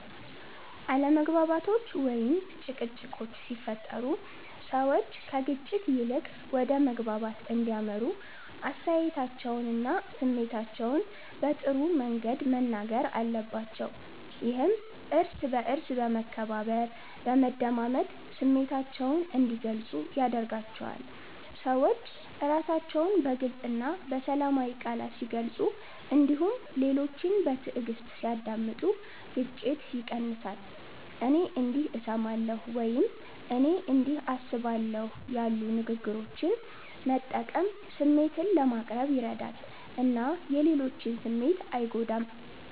አለመግባባቶች ወይም ጭቅጭቆች ሲፈጠሩ ሰዎች ከግጭት ይልቅ ወደ መግባባት እንዲያመሩ አስተያየታቸውንና ስሜታቸውን በጥሩ መንገድ መናገር አለባቸው። ይህም እርስ በእርስ በመከባበር፣ በመደማመጥ ስሜታቸውን እንዲገልጹ ያደርጋቸዋል። ሰዎች ራሳቸውን በግልፅ እና በሰላማዊ ቃላት ሲገልጹ እንዲሁም ሌሎችን በትዕግስት ሲያዳምጡ ግጭት ይቀንሳል። “እኔ እንዲህ እሰማለሁ” ወይም “እኔ እንዲህ አስባለሁ” ያሉ ንግግሮችን መጠቀም ስሜትን ለማቅረብ ይረዳል እና የሌሎችን ስሜት አይጎዳም።